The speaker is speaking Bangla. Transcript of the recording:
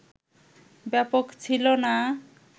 ব্যাপক ছিল না